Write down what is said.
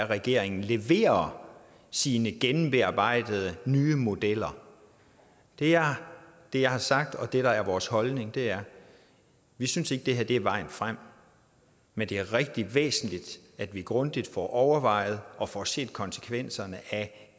regeringen leverer sine gennembearbejdede nye modeller det er det jeg har sagt og det der er vores holdning er vi synes ikke at det her er vejen frem men det er rigtig væsentligt at vi grundigt får overvejet og får set konsekvenserne af